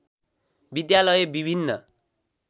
विद्यालय विभिन्न